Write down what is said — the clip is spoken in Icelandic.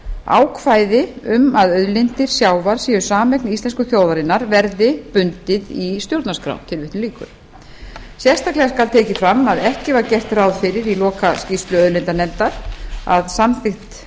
ákvæði um að auðlindir sjávar séu sameign íslensku þjóðarinnar verði bundið í stjórnarskrá tilvitnun lýkur sérstaklega skal tekið fram að ekki var gert ráð fyrir í lokaskýrslu auðlindanefndar að samþykkt